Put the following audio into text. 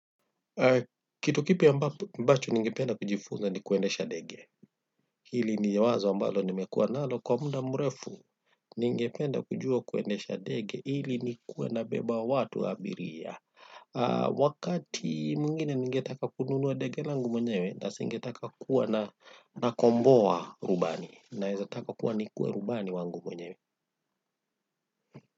Kitu kipya ambacho ningependa kujifunza ni kuendesha ndege. Ili ni wazo ambalo nimekuwa nalo kwa muda mrefu. Ningependa kujua kuendesha ndege ili kuweza kubeba watu abiria. Wakati mwingine ningetaka kununua ndege langu mwenyewe, na singetaka kuwa nakomboa rubani, na ningetaka kuwa rubani wangu mwenyewe.